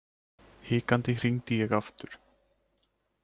Hikandi hringdi ég aftur.